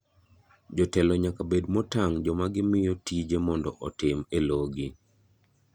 Jotelo nyaka bed motang' joma gimiyo tije mondo otim e logi.